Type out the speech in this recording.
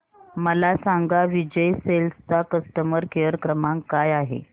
मला सांगा विजय सेल्स चा कस्टमर केअर क्रमांक काय आहे